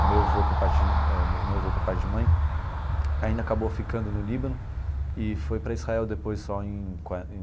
O meu avô por parte de eh meu avô por parte de mãe ainda acabou ficando no Líbano e foi para Israel depois só em